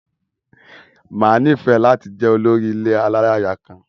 Máa nifẹ lati jẹ olórí ilé alálaya kan.